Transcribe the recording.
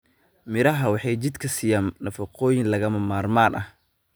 Miraha waxa ay jidhka siiyaan nafaqooyin lagama maarmaan ah.